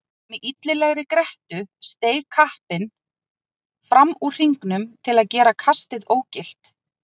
Með illilegri grettu steig kappinn fram úr hringnum til að gera kastið ógilt.